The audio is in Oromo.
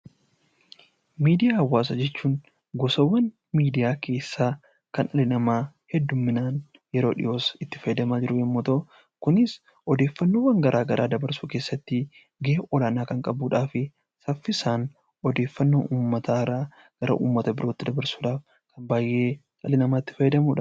Miidiyaa hawaasa jechuun gosoowwaan miidiyaa keessa kan dhalli nama hedduumminaan yeroo dhi'oo asi itti fayyadamaa jiru yemmuu ta'u kunis odeeffannoo garaagaraa dabarsuu keessatti ga'ee olaanaa kan qabuudhaa fi saffisaan odeeffanno uummata haaraa gara uummata birootti dabarsuudhan baay'ee dhalli nama itti fayyadamudha.